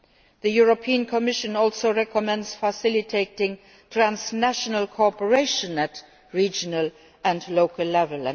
The European Commission also recommends facilitating transnational cooperation at regional and local level.